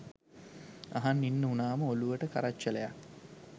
අහන් ඉන්න උනාම ඔලුවට කරච්චලයක්.